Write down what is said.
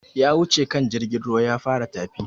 Ya wuce kan jirgin ruwan ya fara tafi